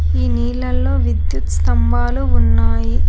ఈ నీళ్లలో విద్యుత్ స్తంభాలు ఉన్నాయి.